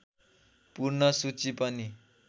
पूर्ण सूची पनि